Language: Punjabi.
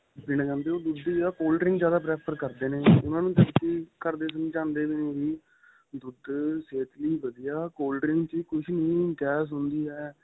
ਪੀਣਾ ਚਾਹੁੰਦੇ ਉਹ ਦੁੱਧ ਦੀ ਜਗ੍ਹਾ cold-drink ਜਿਆਦਾ prefer ਕਰਦੇ ਨੇ ਉਹਨਾ ਨੂੰ ਕਿਉਂਕਿ ਘਰ ਦੇ ਵੀ ਨਹੀਂ ਚਾਹੁੰਦੇ ਉਵੀ ਦੁੱਧ ਸਿਹਤ ਲਈ ਵਧੀਆ cold drink ਚ ਕੁੱਛ ਨਹੀਂ ਗੈਸ ਹੁੰਦੀ ਏ